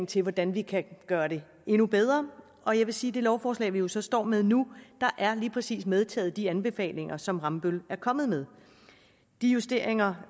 til hvordan vi kan gøre det endnu bedre og jeg vil sige det lovforslag vi jo så står med nu lige præcis er medtaget de anbefalinger som rambøll er kommet med de justeringer